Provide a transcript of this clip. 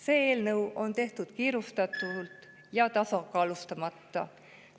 See eelnõu on tehtud kiirustades ja tasakaalustamata.